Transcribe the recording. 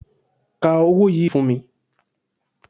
Ka owó yìí fún mi